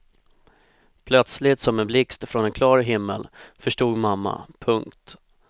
Plötsligt som en blixt från en klar himmel förstod mamma. punkt